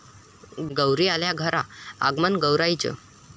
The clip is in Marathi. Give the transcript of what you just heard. गौरी आल्या घरा, आगमन गौराईचं